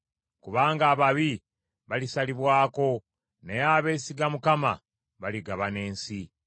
Kubanga ababi balisalibwako, naye abeesiga Mukama baligabana ensi.